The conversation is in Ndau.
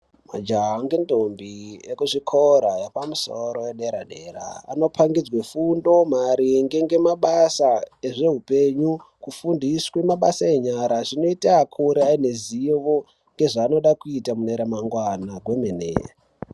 Majaha nendombi vekuzvikora zvepamusoro zvedera-dera Anopangidzwa fundo maringe nemabasa ezvehupenyu kufundiswa mabasa enyara zvinoita akure ane ruzivo rezvanoda kuita mune ramangwana kwemene.